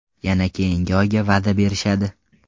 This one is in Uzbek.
Yana keyingi oyga va’da berishadi.